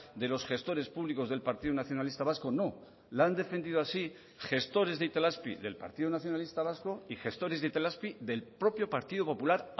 de los gestores públicos del partido nacionalista vasco no la han defendido así gestores de itelazpi del partido nacionalista vasco y gestores de itelazpi del propio partido popular